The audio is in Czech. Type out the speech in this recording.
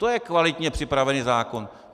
To je kvalitně připravený zákon.